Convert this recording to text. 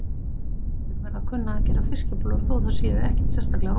Allir verða að kunna að gera fiskibollur þó að þær séu ekkert sérstaklega rómantískar.